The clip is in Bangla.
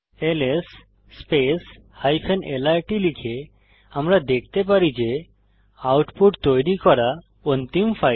এলএস lrt লিখে আমরা দেখতে পারি যে আউটপুট তৈরি করা অন্তিম ফাইল